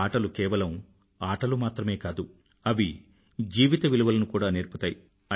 ఆటలు కేవలం ఆటలు మాత్రమే కాదు అవి జీవిత విలువలను కూడా నేర్పుతాయి